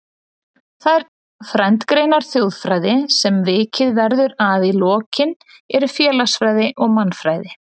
Þær frændgreinar þjóðfræði sem vikið verður að í lokin eru félagsfræði og mannfræði.